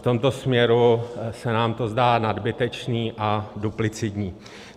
V tomto směru se nám to zdá nadbytečné a duplicitní.